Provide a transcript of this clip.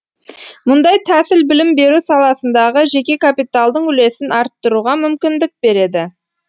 мұндай тәсіл білім беру саласындағы жеке капиталдың үлесін арттыруға мүмкіндік береді